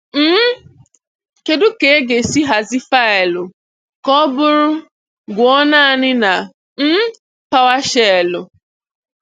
um Kedụ ka aga-esi ahazi faịlụ ka ọ bụrụ "Gụọ naanị" na um Powershell?